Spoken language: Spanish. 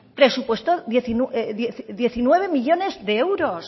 presupuestó diecinueve millónes de euros